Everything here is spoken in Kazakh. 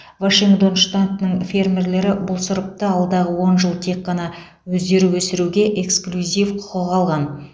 вашингтон штатының фермерлері бұл сұрыпты алдағы он жыл тек қана өздері өсіруге эксклюзив құқық алған